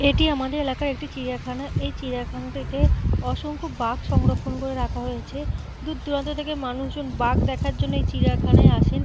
এটি আমাদের এলাকার একটি চিড়িয়াখানা। এই চিড়িয়াখানাটিতে অসংখ্য বাঘ সংরক্ষণ করে রাখা হয়েছে। দূর দূরান্ত থেকে মানুষ এখানে বাঘ দেখার জন্য এই চিড়িয়াখানায় আসেন।